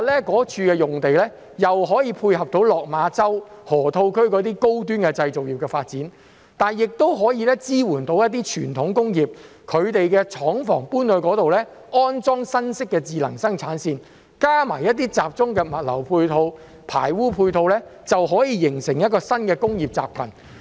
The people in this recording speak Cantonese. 該處用地可以配合落馬洲河套區的高端製造業發展，亦可以支援一些傳統工業，讓他們把廠房遷到該處，安裝新式的智能生產線，再加上一些集中的物流、排污配套，就可以形成一個新的工業集群。